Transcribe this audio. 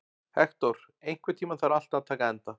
Hektor, einhvern tímann þarf allt að taka enda.